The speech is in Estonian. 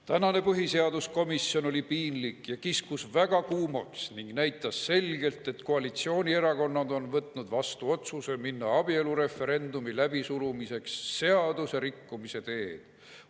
Tänane põhiseaduskomisjon oli piinlik ja kiskus väga kuumaks ning näitas selgelt, et koalitsioonierakonnad on võtnud vastu otsuse minna abielureferendumi läbisurumiseks seaduserikkumise teed.